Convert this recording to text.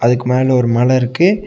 இதுக்கு மேல ஒரு மல இருக்கு.